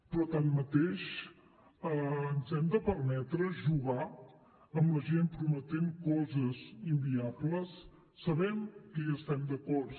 però tanmateix ens hem de permetre jugar amb la gent prometent coses inviables sabem que hi estem d’acord